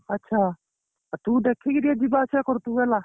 ଆଚ୍ଛା ତୁ ଦେଖିକି ଟିକେ ଯିବା ଆସିବା କରୁଥିବୁ ହେଲା